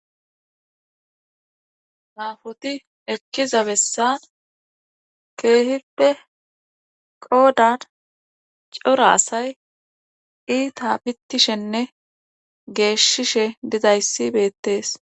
Nafoti ekkiza bessan keehippe qoodan cora asay iita bittishenne geeshshishe didayssi beettees